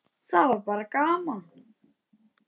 Það var bara gaman!